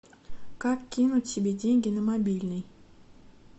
как кинуть себе деньги на мобильный